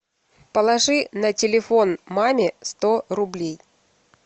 положи на телефон маме сто рублей